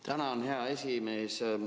Tänan, hea esimees!